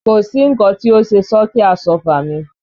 Kò sí nǹkan tí ó ṣe sọ́ọ̀kì Àsọ́fà mi